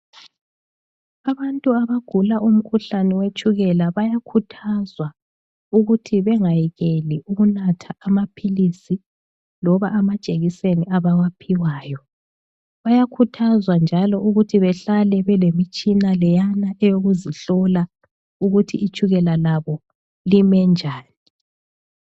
Abantu abagula umkhuhlane wetshukela bayakhuthazwa ukuthi bengayekeli ukunatha amaphilisi loba amajekiseni abawaphiwayo. Bayakhuthazwa njalo ukuthi behlale belemitshina leyana eyokuzihlola ukuthi itshukela labo lime njani.